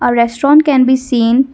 a restaurant can be seen.